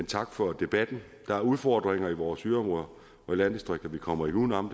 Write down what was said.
tak for debatten der er udfordringer i vores yderområder og landdistrikter vi kommer ikke uden om